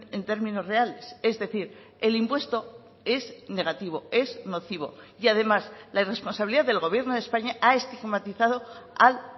en términos reales es decir el impuesto es negativo es nocivo y además la irresponsabilidad del gobierno de españa ha estigmatizado al